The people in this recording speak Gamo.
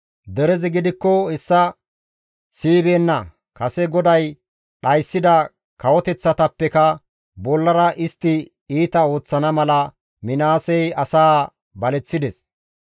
Derezi gidikko hessa siyibeenna; kase GODAY dhayssida kawoteththatappekka bollara istti iita ooththana mala Minaasey asaa baleththides.